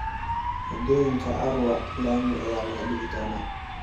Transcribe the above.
Waddooyinka Arua laami ayaa laga digii doonaa.